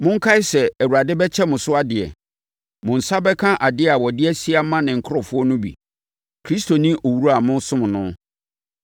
Monkae sɛ Awurade bɛkyɛ mo so adeɛ. Mo nsa bɛka adeɛ a ɔde asie ama ne nkurɔfoɔ no bi. Kristo ne owura a mosom no.